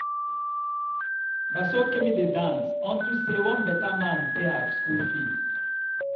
Na so Kemi dey dance unto say one beta man pay her school fees.